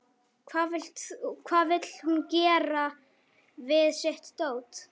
Hvað vill hún gera við sitt dót?